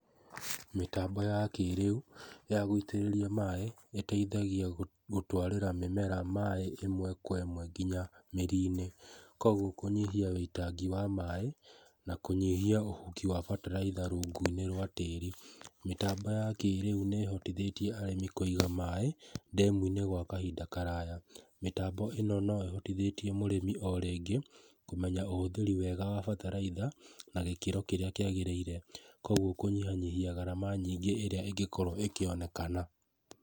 Mĩtambo ya kĩrĩu ya gũitĩrĩria maaĩ ĩteithaigia gũtwarĩra mĩmera maaĩ ĩmwe kwa ĩmwe nginya mĩrinĩ, koguo kũnyihia ũitangi wa maaĩ na kũnyihia ũhuki wa bataraitha rũngũinĩ rwa tĩri. Mĩtambo ya kĩrĩu nĩhotithĩtie arĩmi kũiga maaĩ ndemuinĩ gwa kahinda karaya, mĩtambo ĩno no ĩhotithĩtie mũrĩmi o rĩngĩ kũmenya ũhũthĩri mwega wa bataraitha na gĩkĩro kĩrĩa kĩagĩrĩire koguo kũnyihanyihia garama nyingĩ ĩrĩa ĩngĩkorwo ĩkĩonekana.